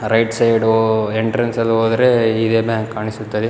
Right side entrance ಅಲ್ಲಿ ಹೋದ್ರೆ ಇದೆಲ್ಲ ಕಾಣಿಸುತ್ತದೆ.